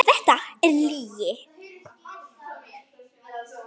Þetta er lygi.